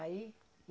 Aí?